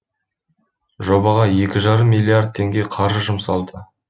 жобаға екі жарым миллиард теңге қаржы жұмсалды